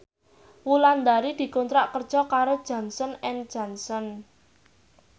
Wulandari dikontrak kerja karo Johnson and Johnson